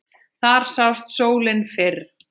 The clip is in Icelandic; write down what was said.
Þar sást sólin fyrr.